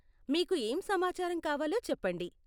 మీకు ఏం సమాచారం కావాలో చెప్పండి .